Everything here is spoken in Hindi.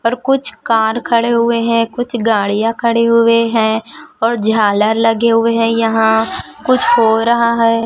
और कुछ कार खड़े हुए हैं कुछ गाड़ियां खड़े हुए हैं और झालर लगे हुए हैं यहां कुछ हो रहा है।